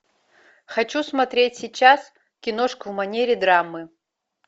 хочу смотреть сейчас киношку в манере драмы